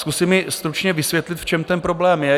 Zkusím i stručně vysvětlit, v čem ten problém je.